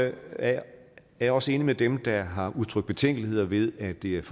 er jeg også enig med dem der har udtrykt betænkeligheder ved at det er